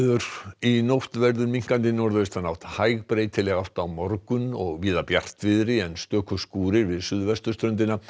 í nótt verður minnkandi norðaustanátt hæg breytileg átt á morgun og víða bjartviðri en stöku skúrir við suðvesturströndina